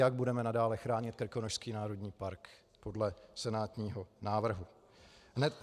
Jak budeme nadále chránit Krkonošský národní park podle senátního návrhu?